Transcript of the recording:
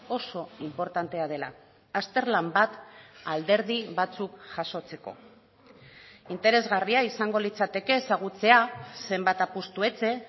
oso inportantea dela azterlan bat alderdi batzuk jasotzeko interesgarria izango litzateke ezagutzea zenbat apustu etxe